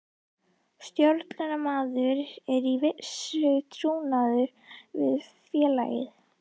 Stjórnunaraðilar eru í vissu trúnaðarsambandi við félagið.